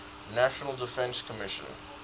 national defense commission